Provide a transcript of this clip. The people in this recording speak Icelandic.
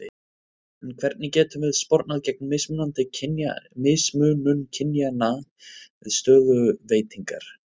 En hvernig getum við spornað gegn mismunun kynjanna við stöðuveitingar?